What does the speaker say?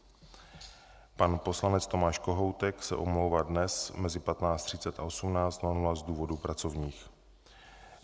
Pan poslanec Tomáš Kohoutek se omlouvá dnes mezi 15.30 a 18.00 z důvodů pracovních.